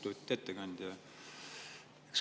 Lugupeetud ettekandja!